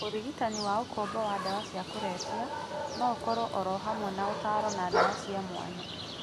Ũrigitani wa ũkombo wa ndawa cia kũrebia no ũkorũohamwe na ũtaaro na ndawa cia mwanya.